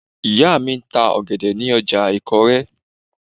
Ìyá mi ń ta ọ̀gẹ̀dẹ̀ ní ọjà ìkórè